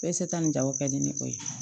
nin jago kɛli ni o ye